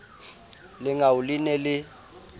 lengau le ne le le